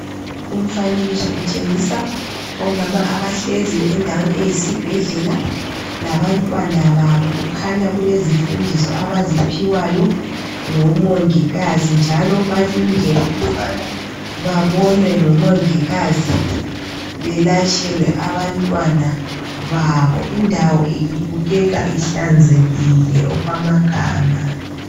Umfanekiso utshengisa omama abahleziyo endaweni eyisibhedlela labantwana babo. Kukhanya kulezifundiso abaziphiwayo ngomongikazi. Njalo balindele ukubana babonwe ngomongikazi belatshelwe abantwana babo. Indawo ibukekza ihlanzekile okwamagama.